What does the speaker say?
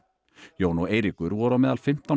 Jón og Eiríkur voru á meðal fimmtán